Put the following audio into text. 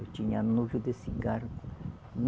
Eu tinha nojo de cigarro.